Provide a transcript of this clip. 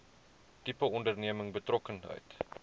tipe onderneming betrokkenheid